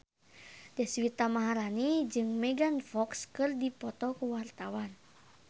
Deswita Maharani jeung Megan Fox keur dipoto ku wartawan